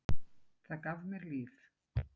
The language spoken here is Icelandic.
Það gaf mér líf.